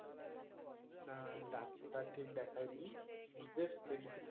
না ডাক্তার ঠিক দেখায়নি justmedicine